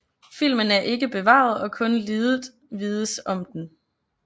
Filmen er ikke bevaret og kun lidet vides om den